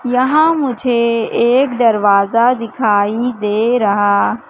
यहां मुझे एक दरवाजा दिखाई दे रहा--